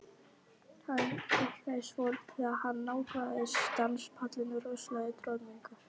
Hann hikaði svolítið þegar hann nálgaðist danspallinn rosalegur troðningur.